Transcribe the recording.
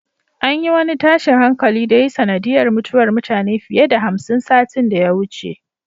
An yi wani tashin hankali da ya yi sanadiyar mutuwar mutane fiye da hamsin satin da ya wuce.